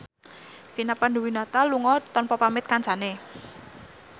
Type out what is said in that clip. Vina Panduwinata lunga tanpa pamit kancane